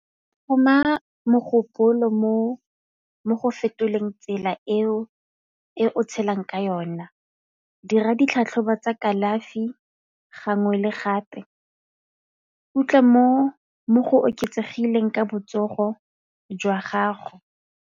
Go tlhoma mogopolo mo go fetoleng tsela eo e o tshelang ka yona, dira ditlhatlhobo tsa kalafi gangwe le gape mo go oketsegileng ka botsogo jwa gago.